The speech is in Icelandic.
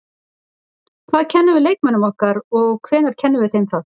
Hvað kennum við leikmönnunum okkar og hvenær kennum við þeim það?